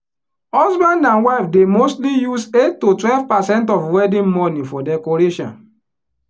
husband and wife dey mostly use eight to twelve percent of wedding money for decoration.